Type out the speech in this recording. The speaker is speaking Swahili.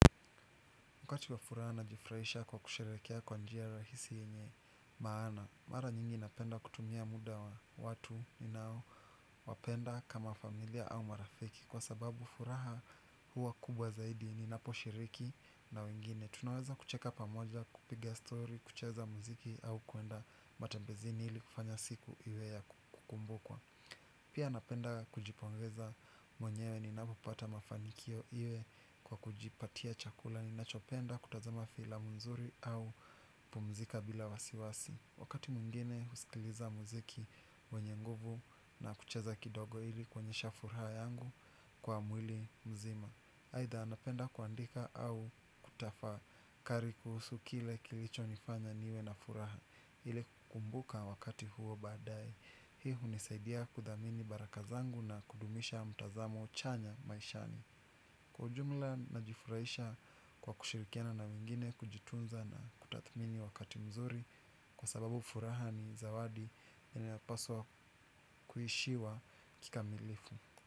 Wakati wa furaha najifurahisha kwa kusherehekea kwa njia rahisi yenye maana. Mara nyingi napenda kutumia muda wa watu ninao wapenda kama familia au marafiki. Kwa sababu furaha huwa kubwa zaidi ninaposhiriki na wengine. Tunaweza kucheka pamoja, kupiga stori, kucheza muziki au kuenda matembezini ili kufanya siku iwe ya kukumbukwa. Pia napenda kujipongeza mwenyewe ninapopata mafanikio iwe kwa kujipatia chakula. Ninachopenda kutazama filamu nzuri au pumzika bila wasiwasi wakati mwingine husikiliza muziki wenye nguvu na kucheza kidogo ili kuonyesha furaha yangu kwa mwili mzima. Aidha napenda kuandika au kutafakari kuhusu kile kilichonifanya niwe na furaha ili kukumbuka wakati huo baadaye. Hii hunisaidia kudhamini baraka zangu na kudumisha mtazamo chanya maishani. Kwa ujumla najifurahisha kwa kushirikiana na wengine kujitunza na kutathmini wakati mzuri kwa sababu furaha ni zawadi yanapaswa kuishiwa kikamilifu.